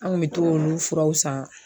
An kun bɛ t'o olu furaw san